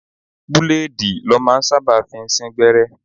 Búlèèdì lọ́ máa ń sábà fi ń sín gbẹ́rẹ́